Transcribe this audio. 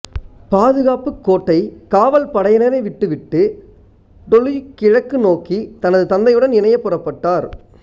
பாதுகாப்புக்கு கோட்டை காவல் படையினரை விட்டுவிட்டு டொலுய் கிழக்கு நோக்கி தனது தந்தையுடன் இணைய புறப்பட்டார்